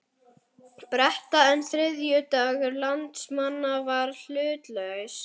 Breta, en þriðjungur landsmanna var hlutlaus.